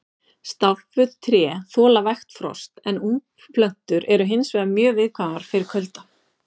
Stálpuð tré þola vægt frost en ungplöntur eru hins vegar mjög viðkvæmar fyrir kulda.